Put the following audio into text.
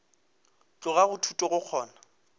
tloga go thuto go kgona